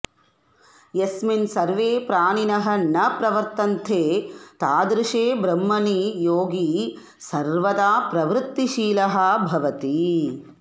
यस्मिन् सर्वे प्राणिनः न प्रवर्तन्ते तादृशे ब्रह्मणि योगी सर्वदा प्रवृत्तिशीलः भवति